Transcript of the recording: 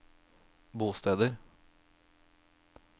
bosteder